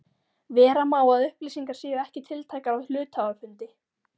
Vera má að upplýsingar séu ekki tiltækar á hluthafafundi.